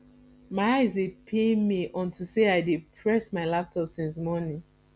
my eye dey pain me unto say i dey press my laptop since morning